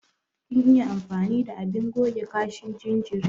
Kin iya amfani da abin goge kashin jinjiri?